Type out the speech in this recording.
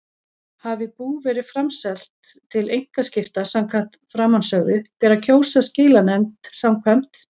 Hafi bú verið framselt til einkaskipta samkvæmt framansögðu ber að kjósa skilanefnd samkvæmt